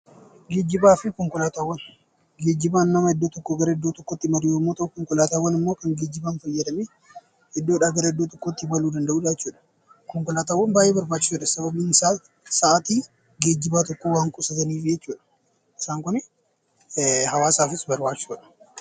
Geejjibni namni iddoo tokkoo gara iddoo biraatti imalu yoo ta'u, konkolaataawwan immoo kan geejjibaaf iddoodhaa kan iddootti imalanidha. Konkolaataawwan baay'ee barbaachisaadha sababiin isaa sa'aatii geejjibaa kan qusatanidha. Isaan Kun hawaasaafis barbaachisoodha.